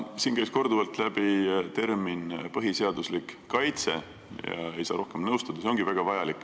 Siin kõlas korduvalt sõnapaar "põhiseaduslik kaitse" ja sellega tuleb nõustuda, see ongi väga vajalik.